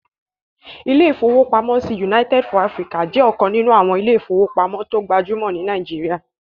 Ilé-ìfowópamọ́sí United fún Áfríkà jẹ́ ọ̀kan nínú àwọn ilé-ìfowópamọ́sí tó gbajúmọ̀ ní Nàìjíríyà